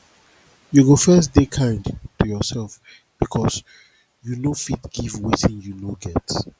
you go first de kind to yourself because you no fit give wetin you no get